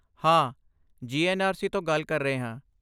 ਹਾਂ, ਜੀ.ਐੱਨ.ਆਰ.ਸੀ. ਤੋਂ ਗੱਲ ਕਰ ਰਹੇ ਹਾਂ।